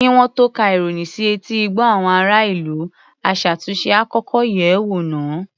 Kí wọ́n tó ka ìròyìn sí etí ìgbọ́ àwọn ará-ìlú, aṣàtúnṣe á kọ́kọ́ yẹ̀ ẹ́ wò náà.